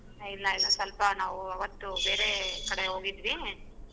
A ಇಲ್ಲ ಇಲ್ಲ ಸ್ವಲ್ಪ ನಾವ್ ಅವತ್ತು ಬೇರೆ ಕಡೆ ಹೋಗಿದ್ವಿ.